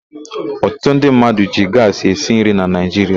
Ọtụtụ ndị mmadụ ji gaasị esi nri na Naịjiria.